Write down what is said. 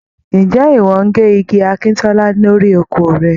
Ǹjẹ́ ìwọ ń gé igi akíntọ́lá lórí oko rẹ.?